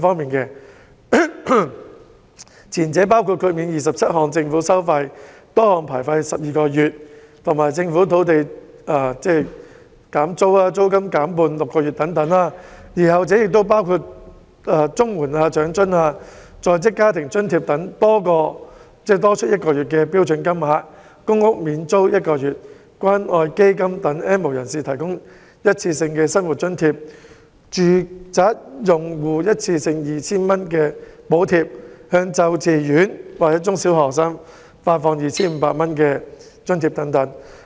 "撐企業"、"保就業"的措施包括豁免27項政府收費12個月，以及政府土地租約的租金減半6個月等；而"紓民困"的措施包括綜合社會保障援助、長者生活津貼、在職家庭津貼等多項津貼額外發放1個月的標準金額；公屋較低收入租戶免租1個月；關愛基金為 "N 無人士"提供一次過生活津貼；電力住宅用戶一次性 2,000 元的電費補貼；向幼稚園及中小學生發放每人 2,500 元津貼等。